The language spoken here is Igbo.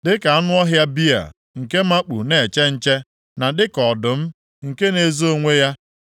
Dịka anụ ọhịa bịa nke makpu na-eche nche, na dịka ọdụm nke na-ezo onwe ya,